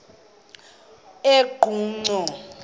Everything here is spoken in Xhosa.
eqonco